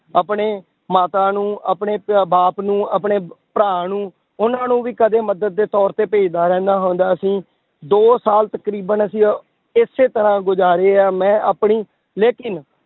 ਆਪਣੇ ਮਾਤਾ ਨੂੰ ਆਪਣੇ ਪ~ ਬਾਪ ਨੂੰ ਆਪਣੇ ਭਰਾ ਨੂੰ ਉਹਨਾਂ ਨੂੰ ਵੀ ਕਦੇ ਮਦਦ ਦੇ ਤੌਰ ਤੇ ਭੇਜਦਾ ਰਹਿੰਦਾ ਹੁੰਦਾ ਸੀ, ਦੋ ਸਾਲ ਤਕਰੀਬਨ ਅਸੀਂ ਇਸੇ ਤਰ੍ਹਾਂ ਗੁਜ਼ਾਰੇ ਆ ਮੈਂ ਆਪਣੀ ਲੇਕਿੰਨ